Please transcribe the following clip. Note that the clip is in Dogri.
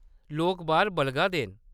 लोक बाह्‌‌र बलगा दे न।